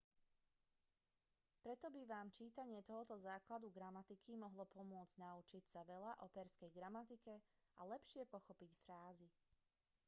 preto by vám čítanie tohto základu gramatiky mohlo pomôcť naučiť sa veľa o perzskej gramatike a lepšie pochopiť frázy